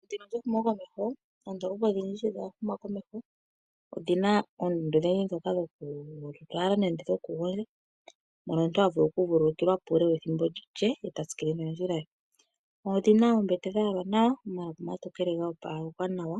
Methimbo lyehumokomeho, oondoolopa odhindji sho dha huma komeho odhi na oondunda odhindji dhokulala nenge dhokugondja, moka omuntu ha okuvululukilwa po uule wethimbo lye e ta tsikile nondjila ye. Odhi na oombete dha yalwa nawa omalapi omatokele go opalekwa nawa